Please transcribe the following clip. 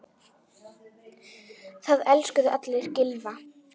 Það elskuðu allir Gylfa.